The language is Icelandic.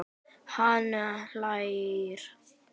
Hann hlær dátt.